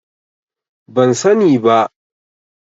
Ban sani ba.